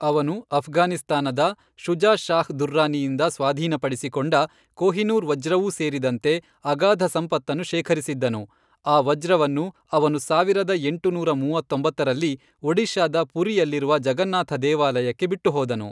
ಅವನು ಅಫ್ಘಾನಿಸ್ತಾನದ ಶುಜಾ ಶಾಹ್ ದುರ್ರಾನಿಯಿಂದ ಸ್ವಾಧೀನಪಡಿಸಿಕೊಂಡ ಕೊಹಿನೂರ್ ವಜ್ರವೂ ಸೇರಿದಂತೆ ಅಗಾಧ ಸಂಪತ್ತನ್ನು ಶೇಖರಿಸಿದ್ದನು, ಆ ವಜ್ರವನ್ನು ಅವನು ಸಾವಿರದ ಎಂಟುನೂರ ಮೂವತ್ತೊಂಬತ್ತರಲ್ಲಿ, ಒಡಿಶಾದ ಪುರಿಯಲ್ಲಿರುವ ಜಗನ್ನಾಥ ದೇವಾಲಯಕ್ಕೆ ಬಿಟ್ಟುಹೋದನು.